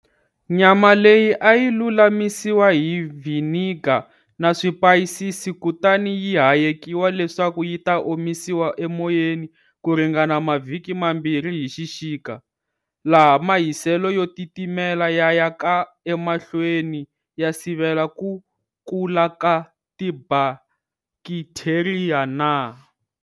Nyama leyi a yi lulamisiwa hi vhiniga na swipayisisi kutani yi hayekiwa leswaku yi ta omisiwa emoyeni kuringana mavhiki mambirhi hi xixika, laha mahiselo yo titimela ya ya ka emahlweni ya sivela ku kula ka tibakitheriya na.